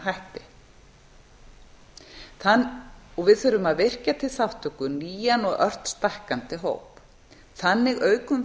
hætti við þurfum að virkja til þátttöku nýjan og ört stækkandi hóp þannig aukum